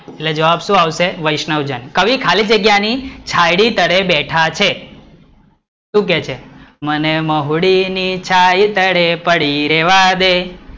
એટલે જવાબ શું આવશે, વૈષ્ણ્વજન કવિ કહેલી જગ્યા ની છાંયડી તરે બેઠા છે શુ કે છે, મને મહુડી ની છાંય તરે પડી રેવા દે,